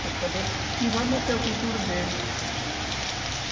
Ele quer saber que vai manter a cultura dele.